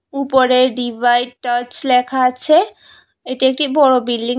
উপরে divide touch লেখা আছে এটি একটি বড় বিল্ডিং ।